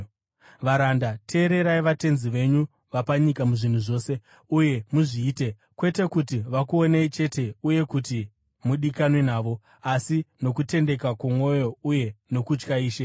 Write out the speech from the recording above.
Varanda, teererai vatenzi venyu vapanyika muzvinhu zvose; uye muzviite, kwete kuti vakuonei chete uye kuti mudikanwe navo, asi nokutendeka kwomwoyo uye nokutya Ishe.